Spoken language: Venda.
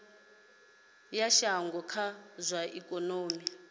ya shango kha zwa ikonomi